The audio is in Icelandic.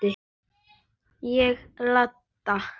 Ég labba.